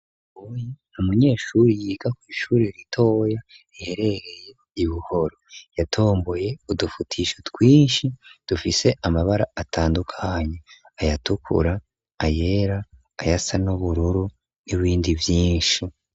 Umunyeshuri yiga kw'ishuri ritoya riherereye ibuhoro yatomboye udufutisho twinshi dufise amabara atandukanye ayatukura ayera ayasa n'ubururu n'ibindi vyinshi.